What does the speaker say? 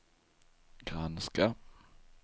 granska